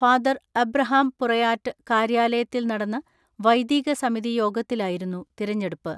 Father Abraham Purayatt കാര്യാലയത്തിൽ നടന്ന വൈദീക സമിതി യോഗത്തിലായിരുന്നു തിരഞ്ഞെടുപ്പ്.